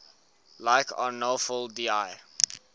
like arnolfo di